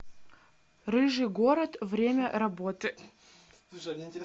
рыжий город время работы